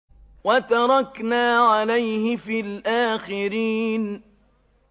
وَتَرَكْنَا عَلَيْهِ فِي الْآخِرِينَ